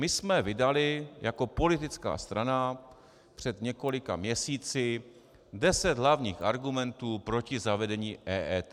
My jsme vydali jako politická strana před několika měsíci deset hlavních argumentů proti zavedení EET.